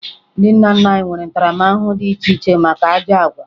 Ndị nna nna anyị nwere ntaramahụhụ dị iche iche maka ajọ àgwà